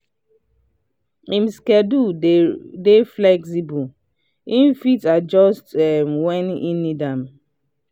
him schedule dey flexible e fit adjust wen he need am.